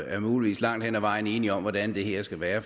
er muligvis langt hen ad vejen enige om hvordan det her skal være